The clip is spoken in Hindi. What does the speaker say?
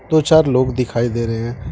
दो चार लोग दिखाई दे रहे हैं।